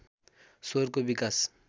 स्वरको विकास